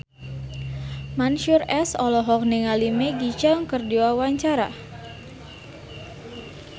Mansyur S olohok ningali Maggie Cheung keur diwawancara